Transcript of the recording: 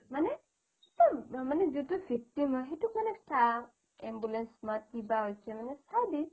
মানে মানে যিটো victim হয় সেইটোক মানে চা ambulance মাত মানে কিবা হৈছে মানে চাই দি